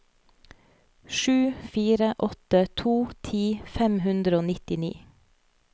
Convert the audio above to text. sju fire åtte to ti fem hundre og nittini